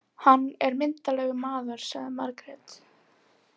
Hann er myndarlegur maður, sagði Margrét.